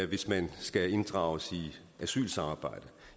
hvis man skal inddrages i asylsamarbejdet